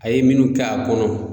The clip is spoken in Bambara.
A ye minnu k'a kɔnɔ